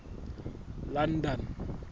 london